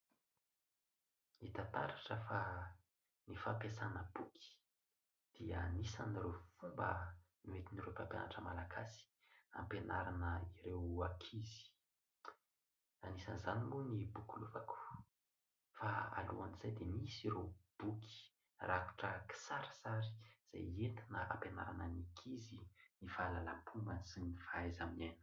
Hita taratra fa ny fampiasana boky dia anisan'ireo fomba noentin'ireo mpampianatra malagasy hampianarana ireo ankizy, anisan'izany moa ny boky lovako fa alohan'izay dia misy ireo boky rakotra kisarisary izay nentina nampianarana ny ankizy ny fahalalam-pomba sy ny fahaiza-miaina.